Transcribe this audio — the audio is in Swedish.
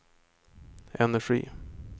energi